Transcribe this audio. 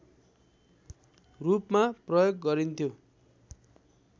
रूपमा प्रयोग गरिन्थ्यो